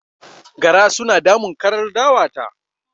Gara suna damun karar dawa ta